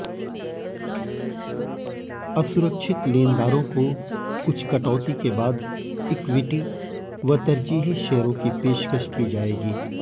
असुरक्षित लेनदारों को कुछ कटौती के बाद इक्विटी व तरजीही शेयरों की पेशकश की जाएगी